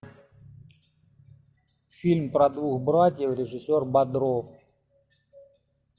фильм про двух братьев режиссер бодров